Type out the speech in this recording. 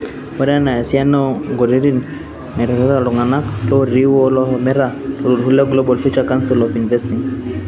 Ore ena naa esiana oo ntokiting' naiterutua iltung'anak lootii woo lohomoita too olturur lee Global Future Council on Investing